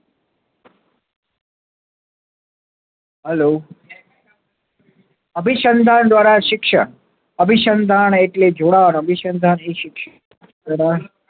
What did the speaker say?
Hello અભીશન્ધાન દ્વારા શિક્ષણ અભીશન્ધાન એટલે જોડાણ અભીશાન્દાન એ શિક્ષિત